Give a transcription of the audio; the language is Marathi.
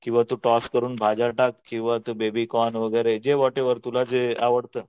किंवा तू टॉस करून भाज्या टाक किंवा तू बेबीकॉर्न वगैरे जे व्हॉटएव्हर तूला जे आवडतं